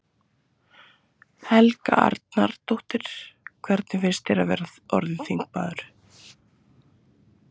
Helga Arnardóttir: Hvernig finnst þér að vera orðinn þingmaður?